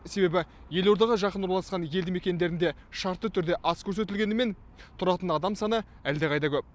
себебі елордаға жақын орналасқан елді мекендерінде шартты түрде аз көрсетілгенімен тұратын адам саны әлдеқайда көп